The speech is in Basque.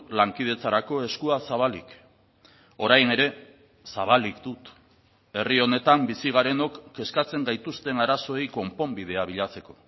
lankidetzarako eskua zabalik orain ere zabalik dut herri honetan bizi garenok kezkatzen gaituzten arazoei konponbidea bilatzeko